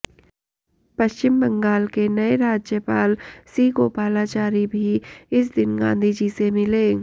पश्चिम बंगाल के नए राज्यपाल सी राजगोपालाचारी भी इस दिन गांधीजी से मिले